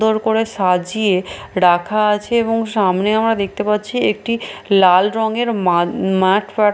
দোর করে সাজিয়ে রাখা আছে এবং সামনে আমরা দেখতে পাচ্ছি একটি লাল রঙের মাদ মাঠ ফাট --